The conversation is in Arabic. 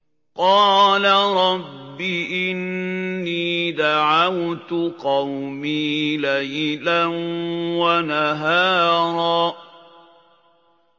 قَالَ رَبِّ إِنِّي دَعَوْتُ قَوْمِي لَيْلًا وَنَهَارًا